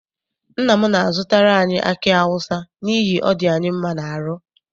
Nna m na-azụtara anyi aki awụsa n'ihi ọ dị anyị mma n'aru.